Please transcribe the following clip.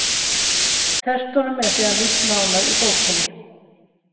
Tertunum er síðan lýst nánar í bókinni: